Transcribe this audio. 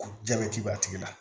Jabɛti b'a tigi la